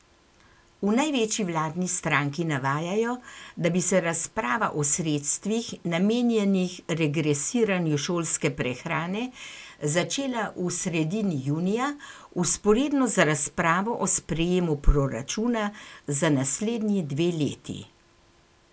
V največji vladni stranki navajajo, da bi se razprava o sredstvih, namenjenih regresiranju šolske prehrane, začela v sredini junija, vzporedno z razpravo o sprejemu proračuna za naslednji dve leti.